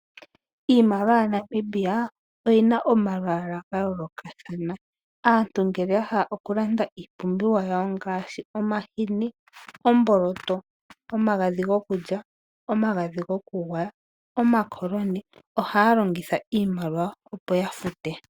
Iimaliwa yaNamibia oyina omalwaala ga yoolokathana. Aantu ngele ya hala oku landa iipumbiwa yawo ngaashi omahini, omboloto, omagadhi gokulya, omagadhi goku gwaya, omakoloni, ohaya longitha iimaliwa opo ya fute.